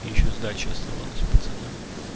и ещё сдача оставалась пацанам